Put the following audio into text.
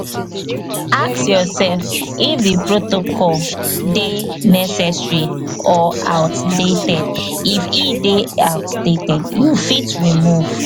ask yourself if di protocol dey necessary or outdated if e dey outdated you fit remove